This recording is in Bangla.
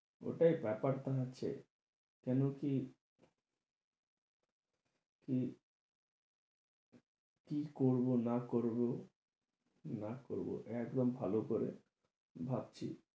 ওটাই ব্যাপার টা হচ্ছে, কেন কি কি কি করবো, না করব, না করবো, একদম ভাল করে ভাবছি,